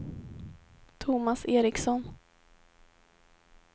Thomas Eriksson